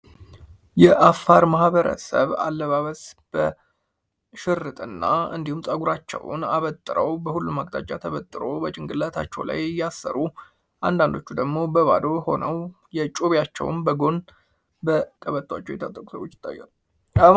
የአፋር ማህበረሰብ አለባበስ በ ሽርጥና እንዲሁም ጸጉራቸውን አበጠረው በሁሉም አጫጭር ተብጥሮ በጭንቅላታቸው ላይ እያሰሩ አንዳንዶቹ ደግሞ በባዶ ሆነው የጮቤቸውን በጎን ደር ቀበቶች ይታያሉ።